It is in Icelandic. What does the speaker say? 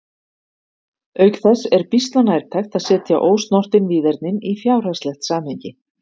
auk þess er býsna nærtækt að setja ósnortin víðernin í fjárhagslegt samhengi